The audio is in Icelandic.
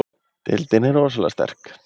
Deildin er rosalega sterk